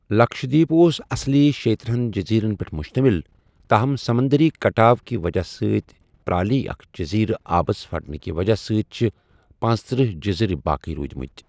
لکشدیپ اوس اصلی شےتٕرہن جزیرن پیٹھ مشتمل ، تاہم سمندری کٹاؤ کہِ وجہہ سۭتۍ پرالی اکھ جزیرہ آبس پھٹنہٕ كہِ وجہہ سۭتۍ چھِ پنژتٕرہ جزیریہ باقیہ روٗدِمٕتہِ ۔